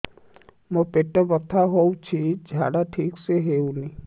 ମୋ ପେଟ ବଥା ହୋଉଛି ଝାଡା ଠିକ ସେ ହେଉନି